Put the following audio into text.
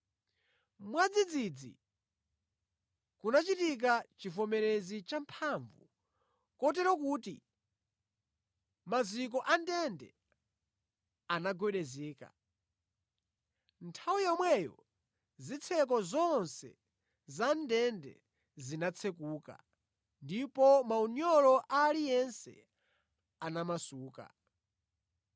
Mwadzidzidzi kunachitika chivomerezi champhamvu kotero kuti maziko a ndende anagwedezeka. Nthawi yomweyo zitseko zonse za ndende zinatsekuka, ndipo maunyolo a aliyense anamasuka.